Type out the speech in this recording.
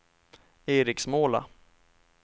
Eriksmåla